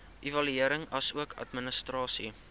evaluering asook administrasie